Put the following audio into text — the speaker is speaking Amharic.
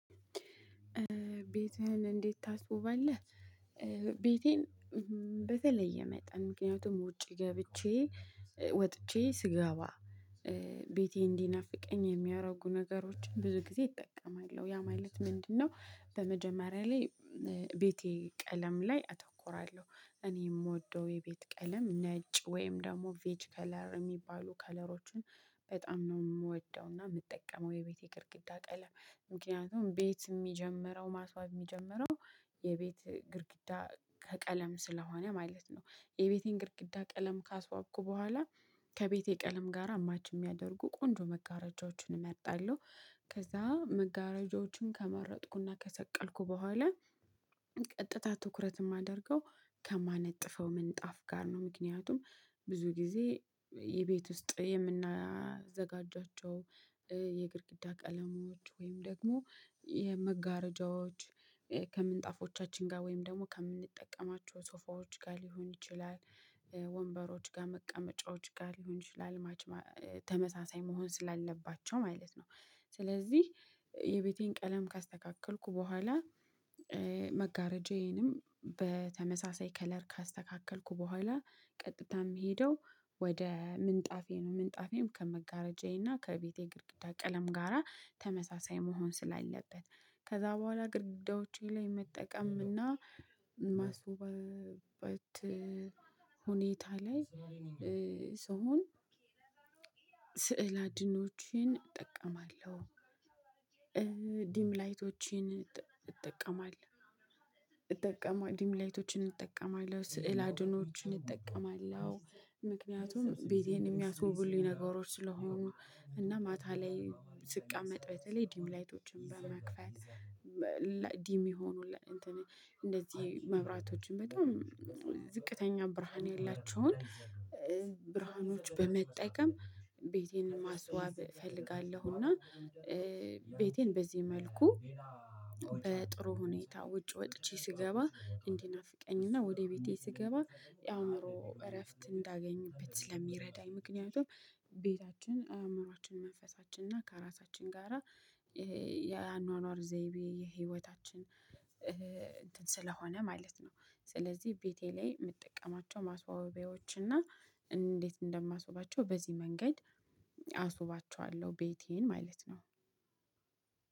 ቤትህን እንዴት ታስዉባለህ? ቤቴን በተለየ መጠን ምክንያቱም ውጪ ገብቼ ወጥቼ ስገባ ቤቴ እንዲናፍቀኝ የሚያደርጉ ነገሮችን ብዙ ጊዜ እጠቀማለሁ ያ ማለት ምንድነው? በመጀመሪያ ላይ ቤቴ ቀለም ላይ አተኩራለሁ እኔ እምወደው የቤት ቀለም ነጭ ወይም ደግሞ ቬጅ ከለር እሚባሉ ከለሮችን በጣም ነው እምወደውና የምጠቀመው የቤቴ ግድግዳ ቀለም ምክንያቱም ቤት እሚጀምረው ማስዋብ እሚጀምረው የቤት ግድግዳ ከቀለም ስለሆነ ማለት ነው። የቤቴን ግድግዳ ቀለም ካስዋብኩ በኋላ ከቤቴ ቀለም ጋራ ማች እሚያደርጉ ቆንጆ መጋረጃዎችን እመርጣለሁ። ከዛ መጋረጃዎችን ከመረጥኩና ከሰቀልኩ በኋላ ቀጥታ ትኩረት አሰማደርገው ከማነጥፈው ምንጣፍ ጋር ነው። ምክንያቱም ብዙ ጊዜ የቤት ውስጥ የምናዘጋጃቸው የግድግዳ ቀለሞች ወይም ደግሞ የመጋረጃዎች ከምንጣፎቻችን ጋር ወይም ደግሞ ከምንጠቀማቸው ሶፋዎች ጋር ሊሆን ይችላል ጋር መቀመጫዎች ጋር ሊሆን ይችላል ማች ተመሳሳይ መሆን ስላለባቸው ማለት ነው። ስለዚህ የቤቴን ቀለም ካስተካከልኩ በኋላ መጋረጃዬንም በተመሳሳይ ከለር ካስተካከልኩ በኋላ ቀጥታ እምሄደው ወደ ምንጣፌ ነው። ምንጣፌም ከመጋረጃዬ እና ከቤቴ ግድግዳ ቀለም ጋራ ተመሳሳይ መሆን ስላለበት ከዛ በኋላ ግድዳዎቼ ላይ መጠቀም እና ማስዉበት። ሁኔታ ላይ ስሆን ስዕል አድኖዎችን እጠቀማለሁ። ዲም ላይቶችን እጠቀማለሁ። እጠቀማለ ዲም ላይቶችን እጠቀማለሁ ስዕል አድህኖዎችን እጠቀማለሁ። ምክንያቱም ቤቴን እሚያስውቡልኝ ነገሮች ስለሆኑ እና ማታ ላይ ስቀመጥ በተለይ ዲም ላይቶችን በመክፈት ዲም የሆኑ እንደዚህ መብራቶችን በጣም ዝቅተኛ ብርሃን የላቸውን ብርሃኖች በመጠቀም ቤቴን ማስዋብ እፈልጋለሁ። እና ቤቴን በዚህ መልኩ በጥሩ ሁኔታ ውጭ ወጥቼ ስገባ እንዲናፍቀኝ እና ወደ ቤቴ ስገባ የአእምሮ እረፍት እንዳገኝበት ስለሚረዳኝ ምክንያቱም ቤታችን አእምሮአችን መንፈሳችን እና ከራሳችን ጋራ የአኗኗር ዘይቤ የህይወታችን እንትን ስለሆነ ማለት ነው። ስለዚህ ቤቴ ላይ እምጠቀማቸው ማስዋቢያዎች እና እንዴት እንደማስውባቸው በዚህ መንገድ አስውባቸዋለሁ ቤቴን ማለት ነው።